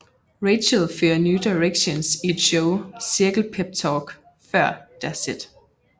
Rachel fører New Directions i et show cirkel peptalk før deres sæt